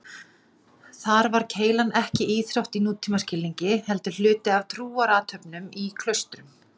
Kormákur var kominn í hefðbundinn búning aðstoðarmanna og beið hans á bátnum.